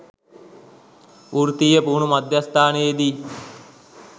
වෘත්තීය පුහුණු මධ්‍යස්ථානයේදී